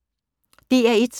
DR1